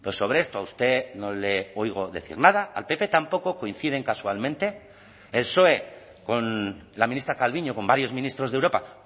sobre esto a usted no le oigo decir nada al pp tampoco coinciden casualmente el psoe con la ministra calviño con varios ministros de europa